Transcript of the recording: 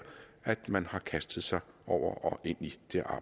at man har kastet sig over og ind i